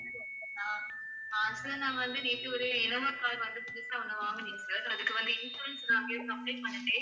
நான் ஆஹ் sir நான் வந்து நேத்து ஒரு இன்னோவா car வந்து புதுசா ஒண்ணு வாங்கனேன் sir. அதுக்கு வந்து insurance நான் வந்து apply பண்ணிட்டேன்.